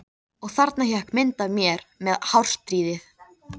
Og þarna hékk myndin af mér með hárstrýið.